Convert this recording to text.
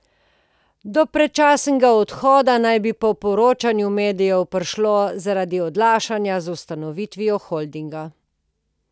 Do predčasnega odhoda naj bi po poročanju medijev prišlo zaradi odlašanja z ustanovitvijo holdinga.